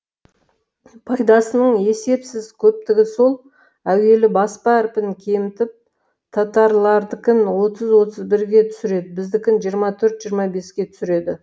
пайдасының есепсіз көптігі сол әуелі баспа әрпін кемітіп татарлардікін отыз отыз бірге түсіреді біздікін жиырма төрт жиырма беске түсіреді